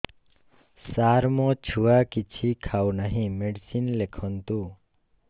ସାର ମୋ ଛୁଆ କିଛି ଖାଉ ନାହିଁ ମେଡିସିନ ଲେଖନ୍ତୁ